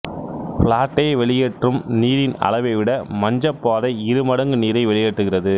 பிளாட்டே வெளியேற்றும் நீரின் அளவை விட மஞ்சப்பாறை இரு மடங்கு நீரை வெளியேற்றுகிறது